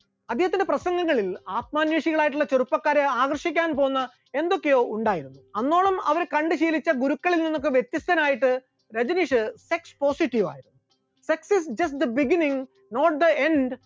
അദ്ദേഹത്തിന്റെ പ്രസംഗങ്ങളിൽ ആത്മാന്വേഷികളായിട്ടുള്ള ചെറുപ്പക്കാരെ ആകർഷിക്കാൻ പോകുന്ന എന്തൊക്കെയോ ഉണ്ടായിരുന്നു, അന്നോളം അവർ കണ്ട് ശീലിച്ച ഗുരുക്കളിൽ നിന്നൊക്കെ വ്യത്യസ്തനായിട്ട് രജനീഷ് sex positive ആയി, sex is just the beginning, not the end